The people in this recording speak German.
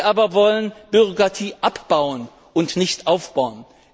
Wir aber wollen Bürokratie abbauen und nicht aufbauen.